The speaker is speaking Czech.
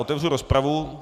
Otevřu rozpravu.